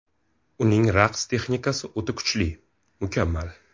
U ning raqs texnikasi o‘ta kuchli, mukammal.